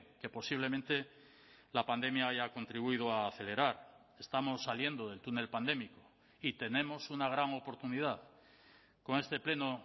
que posiblemente la pandemia haya contribuido a acelerar estamos saliendo del túnel pandémico y tenemos una gran oportunidad con este pleno